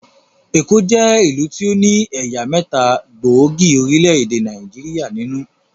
Èkó jẹ́ ìlú tí ó ní ẹ̀yà mẹ́ta gbóògì orílẹ̀-èdè Nàìjíríà nínú